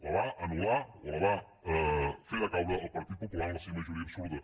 la va anul·lar o la va fer decaure el partit popular amb la seva majoria absoluta